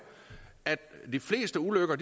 at de fleste ulykker